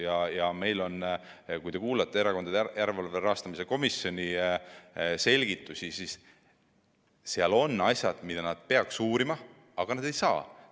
Ja kui te kuulate Erakondade Rahastamise Järelevalve Komisjoni selgitusi, siis on asju, mida nad peaks uurima, aga ei saa.